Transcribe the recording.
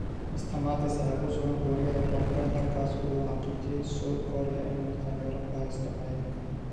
Mr. Mattis ayaa ku sugan Kuuriyada Koonfureed halkaas oo uu u xaqiijiyay Seoul Korea in uu taageero ka haysto Maraykanka.